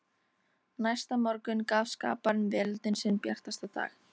Næsta morgun gaf skaparinn veröldinni sinn bjartasta dag.